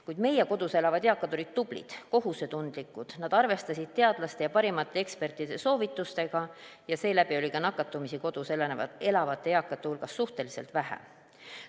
Kuid meie kodus elavad eakad olid tublid, kohusetundlikud, nad arvestasid teadlaste ja parimate ekspertide soovitusi ja seeläbi oli ka nakatumisi kodus elavate eakate hulgas suhteliselt vähe.